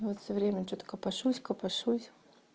вот всё время что-то копошусь копошусь